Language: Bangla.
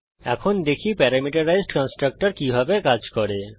এখন দেখি প্যারামিটারাইজড কন্সট্রকটর কিভাবে কাজ করে